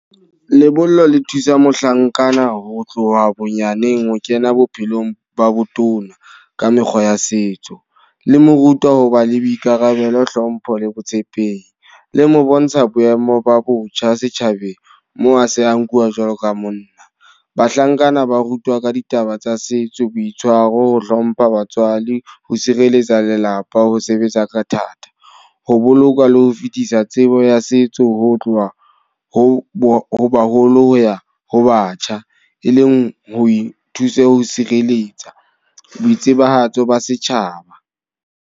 Lebollo le thusa mohlankana ho tloha bonyaneng ho kena bophelong ba botona, ka mekgwa ya setso. Le mo rutwa ho ba le boikarabelo, hlompho le botshepehi. Le mo bontsha boemo ba botjha setjhabeng, moo a se a nkuwa jwalo ka monna. Bahlankana ba rutwa ka ditaba tsa setso, boitshwaro, ho hlompha batswadi, ho sireletsa lelapa, ho sebetsa ka thata. Ho boloka le ho fetisa tsebo ya setso ho tloha ho haholo ya ho batjha. E leng ho ithusa ho sireletsa. Boitsebahatso ba setjhaba.